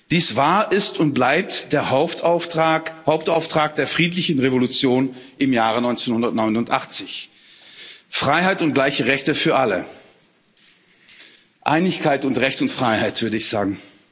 Dies war, ist und bleibt der Hauptauftrag der friedlichen Revolution im Jahre 1989. Freiheit und gleiche Rechte für alle Einigkeit und Recht und Freiheit, würde ich sagen.